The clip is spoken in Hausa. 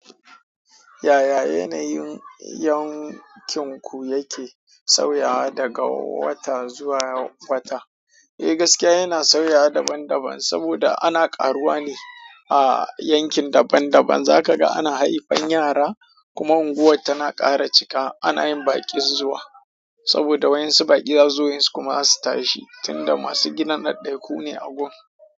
Yaya yanayin yankin ku yake sauyawa daga wata zuwa wata? Eh gaskiya yana sauyawa daban daban saboda ana ƙaruwa ne a yankin daban daban. Zaka ga ana haifan yara kuma unguwar tana ƙara cika ana yin baƙin zuwa saboda wayan su baƙi da zuwa wayan su kuma za su tashi tunda masu gidan ɗaɗɗai ku ne a gon.